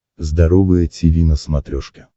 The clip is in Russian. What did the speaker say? здоровое тиви на смотрешке